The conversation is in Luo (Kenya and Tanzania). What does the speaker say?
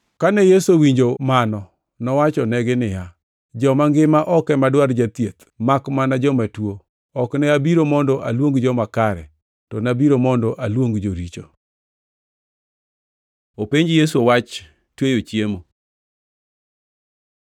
Kane Yesu owinjo mano nowachonegi niya, “Joma ngima ok ema dwar jathieth makmana joma tuo. Ok ne abiro mondo aluong joma kare, to nabiro mondo aluong joricho.” Openj Yesu wach tweyo chiemo